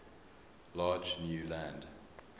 large new land